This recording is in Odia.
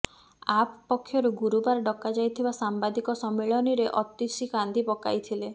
ଆପ ପକ୍ଷରୁ ଗୁରୁବାର ଡକାଯାଇଥିବା ସାମ୍ବାଦିକ ସମ୍ମିଳନୀରେ ଅତିଶୀ କାନ୍ଦି ପକାଇଥିଲେ